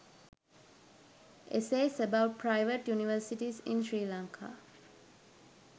essays about private universities in sri lanka